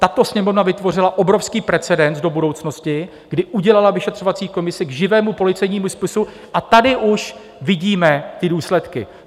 Tato Sněmovna vytvořila obrovský precedens do budoucnosti, kdy udělala vyšetřovací komisi k živému policejnímu spisu, a tady už vidíme ty důsledky.